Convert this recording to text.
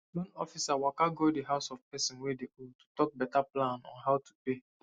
loan officer waka go the house of person wey dey owe to talk better plan on how to pay